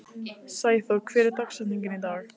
Sæþór, hver er dagsetningin í dag?